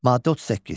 Maddə 38.